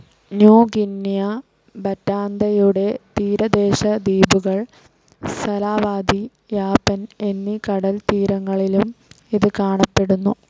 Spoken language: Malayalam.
ന്യൂ ഗ്വിനിയ, ബറ്റാന്തയുടെ തീരദേശ ദ്വീപുകൾ, സലാവാതി, യാപ്പൻ എന്നീ കടൽത്തീരങ്ങളിലും ഇത് കാണപ്പെടുന്നു.